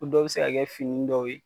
U dɔw be se ka kɛ fini dɔw ye